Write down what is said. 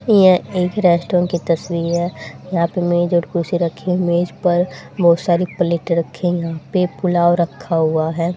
यह एक रेस्टोरेंट की तस्वीर है यहां पे मेज और कुर्सी रखी मेज पर बहुत सारी प्लेट रखे हुए प्लेट पर पुलाव रखा हुआ है।